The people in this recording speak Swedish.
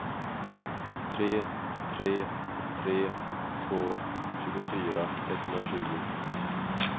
tre tre tre två tjugofyra etthundratjugo